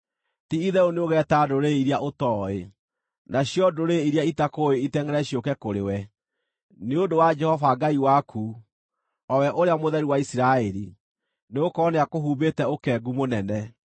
Ti-itherũ nĩũgeeta ndũrĩrĩ iria ũtooĩ, nacio ndũrĩrĩ iria itakũũĩ itengʼere ciũke kũrĩ we, nĩ ũndũ wa Jehova Ngai waku, o we Ũrĩa Mũtheru wa Isiraeli, nĩgũkorwo nĩakũhumbĩte ũkengu mũnene.”